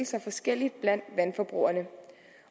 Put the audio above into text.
sig forskelligt blandt vandforbrugerne